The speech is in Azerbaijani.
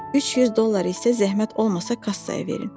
300 dollar isə zəhmət olmasa kassaya verin.